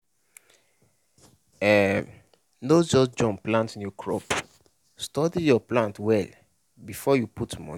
um no just jump plant new crop study your land well before you put money.